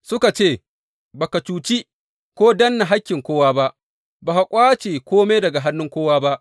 Suka ce, Ba ka cuci ko danne hakkin kowa ba, ba ka ƙwace kome daga hannun kowa ba.